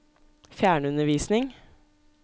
fjernundervisning